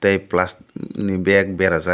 tei palastik ni bag berajak.